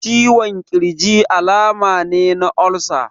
Ciwon ƙirji alama ne na olsa.